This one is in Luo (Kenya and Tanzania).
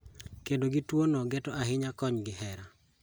Kedo gi tuo no geto ahinya kony gi hera